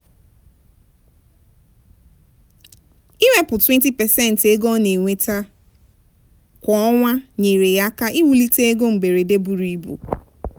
"iwepụ 20% nke ego ọ na-enweta kwa ọnwa nyeere ya aka iwulite ego mberede buru ibu."